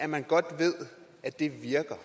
man godt ved at det virker